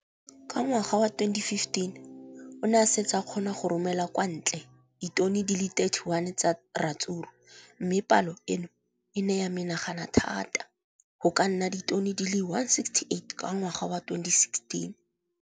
Ka ngwaga wa 2015, o ne a setse a kgona go romela kwa ntle ditone di le 31 tsa ratsuru mme palo eno e ne ya menagana thata go ka nna ditone di le 168 ka ngwaga wa 2016.